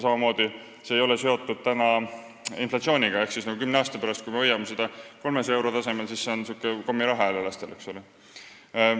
Samuti ei ole see seotud inflatsiooniga ehk kui me hoiame seda 300 euro tasemel, siis kümne aasta pärast on see lastele kommiraha.